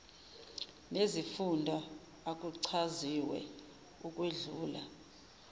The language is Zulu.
nezifunda akuchaziwe ukwedlula